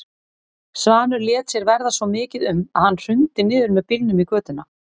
Svanur lét sér verða svo mikið um að hann hrundi niður með bílnum í götuna.